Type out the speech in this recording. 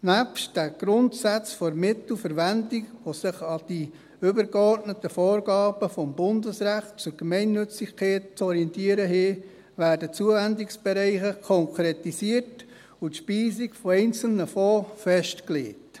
Neben den Grundsätzen der Mittelverwendung, die sich an den übergeordneten Vorgaben des Bundesrechtes zur Gemeinnützigkeit zu orientieren haben, werden Zuwendungsbereiche konkretisiert und die Speisung einzelner Fonds festgelegt.